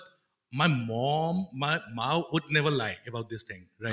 my mom would never lie about this thing right?